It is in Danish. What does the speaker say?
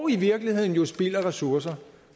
i virkeligheden spild af ressourcer